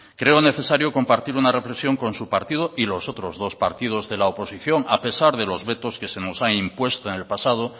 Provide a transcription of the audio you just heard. creo necesario compartir una reflexión con su partido y los otros dos partidos de la oposición a pesar de los vetos que se nos han impuesto en el pasado